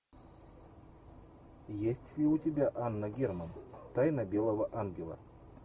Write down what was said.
есть ли у тебя анна герман тайна белого ангела